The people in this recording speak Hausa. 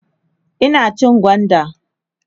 Ina cin gwanda